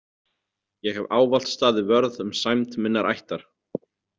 Ég hef ávallt staðið vörð um sæmd minnar ættar.